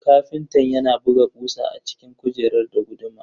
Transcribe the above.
Ƙafintan yana buga kusa a cikin kujerar da guduma.